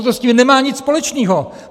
Ono s tím nemá nic společného!